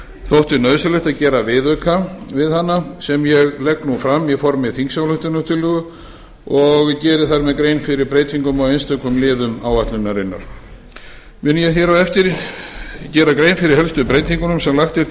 þótti nauðsynlegt að gera viðauka við hana sem ég legg nú fram í formi þingsályktunartillögu og geri þar með grein fyrir breytingum á einstökum liðum áætlunarinnar mun ég hér á eftir gera grein fyrir helstu breytingunum sem lagt er til